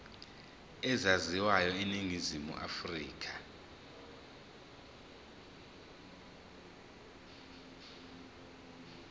ezaziwayo eningizimu afrika